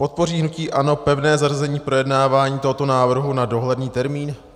Podpoří hnutí ANO pevné zařazení projednávání tohoto návrhu na dohledný termín?